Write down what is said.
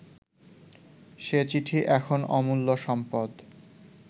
সে চিঠি এখন অমূল্য সম্পদ